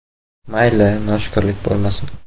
“Mayli, noshukrlik bo‘lmasin.